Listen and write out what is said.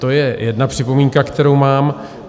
To je jedna připomínka, kterou mám.